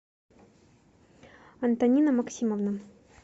антонина максимовна